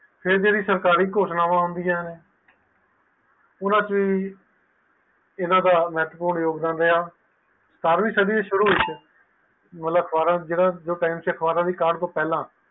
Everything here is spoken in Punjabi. ਇਹ ਜੇਰੀ ਸਰਕਾਰੀ ਘੋਸ਼ਣਾਵਾਂ ਹਨ ਊਨਾ ਵਿਚ ਏਨਾ ਦਾ ਮਹੱਤਵਪੂਰਨ ਯੋਗਦਾਨ ਰਿਹਾ ਸਤਾਰਵੀਂ ਸਾਡੀ ਦੇ ਸ਼ੁਰੂ ਵਿਚ ਅਖਬਾਰਾਂ ਦੇ ਟਾਈਮ ਤੋਂ ਪਹਿਲਾ